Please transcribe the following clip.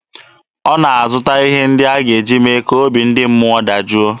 Ọ na-azụta ihe ndị a ga-eji mee ka obi ndị mmụọ dajụọ.